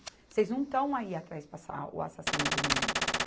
Vocês não estão aí atrás o assassino do menino.